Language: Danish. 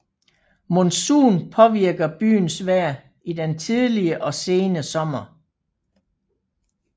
Monsun påvirker byens vejr i den tidlige og sene sommer